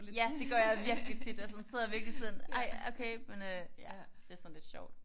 Ja det gør jeg virkelig tit. Og sådan sidder jeg virkelig sådan ej okay men øh det er sådan lidt sjovt